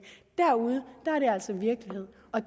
derude er det altså virkelighed og